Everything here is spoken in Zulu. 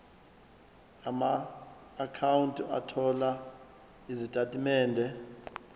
amaakhawunti othola izitatimende